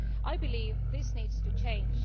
I believe this needs to change.